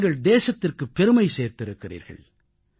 நீங்கள் தேசத்திற்குப் பெருமை சேர்த்திருக்கிறீர்கள்